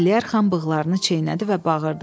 Əliyarxan bığlarını çeynədi və bağırdı.